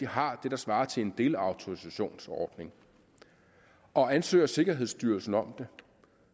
har det der svarer til en delautorisationsordning og ansøger sikkerhedsstyrelsen om det